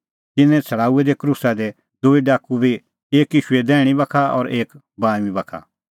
तिन्नैं छ़ड़ाऊऐ क्रूसा दी दूई डाकू बी एक ईशूए दैहणीं बाखा और एक बाऊंईं बाखा